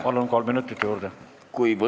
Palun, kolm minutit juurde!